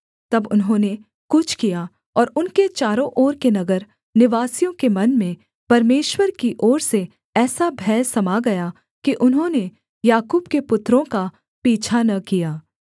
तब उन्होंने कूच किया और उनके चारों ओर के नगर निवासियों के मन में परमेश्वर की ओर से ऐसा भय समा गया कि उन्होंने याकूब के पुत्रों का पीछा न किया